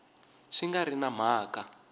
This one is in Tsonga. swi nga ri na mhaka